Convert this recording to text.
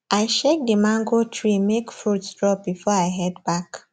i shake the mango tree make fruits drop before i head back